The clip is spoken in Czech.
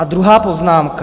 A druhá poznámka.